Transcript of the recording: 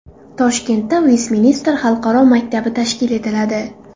Toshkentda Vestminster xalqaro maktabi tashkil etiladi.